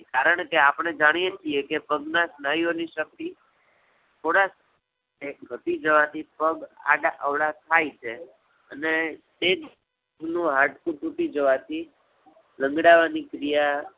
કારણકે આપણે જાણીએ છીએ કે પગ ના સ્નાયુઓ ની શક્તિ થોડા ઘટી જવા થી પગ આડા-અવળા થાય છે. અને તે જ નું હાડકું તૂટી જવાથી લંગડાવાની ક્રિયા